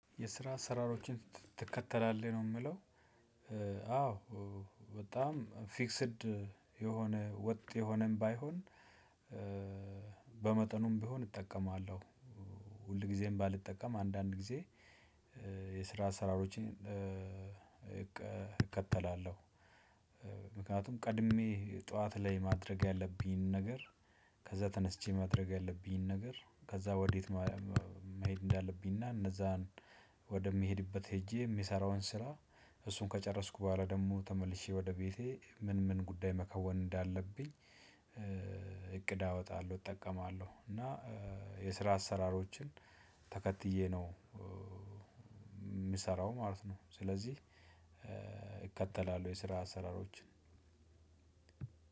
የስራ አሰራሮችን ትከተላለህ ነው የምለው? አዎ። በጣም ፊክስድ የሆነ ወጥ የሆነም ባይሆን በመጠኑም ብሆን እጠቀማለሁ። ሁል ጊዜም ባልጠቀም አንዳንድ ጊዜ። የስራ አሰራሮችን እከተላለሁ። ምክንያቱም ቀድሜ ጥዋት ላይ ማድረግ ያለብኝን ነገር። ከዛ ተነስቼ ማድረግ ያለብኝን ነገር ከዛ ወዴት መሄድ እንዳለብኝ እና እነዛን ወደ ምሄድበት ሄጄ የሚሰራውን ስራ። እሱን ከጨረስኩ በኋላ ደግሞ ተመልሼ ወደ ቤቴ ምን ምን ጉዳይ መከወን እንዳለብኝ። እቅድ አወጣለሁ እጠቀማለሁ። እና የስራ አሰራሮችን ተከትዬ ነው የምሰራው ማለት ነው። ስለዚህ እከተላለሁ የስራ አሰራሮችን